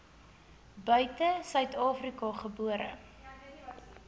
buite suidafrika gebore